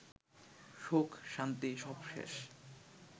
সুখ-শান্তি সব শেষ